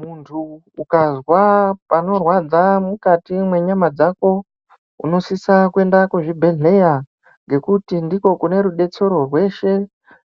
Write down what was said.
Muntu ukazwa panorwadza mukati mwenyama dzako, unosisa kuyenda kuzvibhedhleya ngekuti ndiko kune rudetsero rweshe,